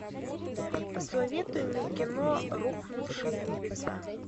посоветуй мне кино рухнувшие небеса